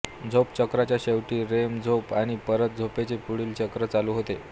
झोप चक्राच्या शेवटी रेम झोप आणि परत झोपेचे पुढील चक्र चालू होते